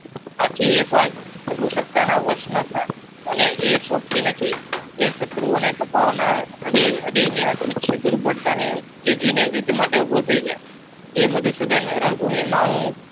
આથી એક વાર રઘુસક્તના વશ ન થા અને એ શોભતી નથી. એ શત્રુઓને તપાવનાર હૃદયને યુદ્ધ માટે ઉભો થઈ જા જે મધુસુદન રણભૂમિમાં હું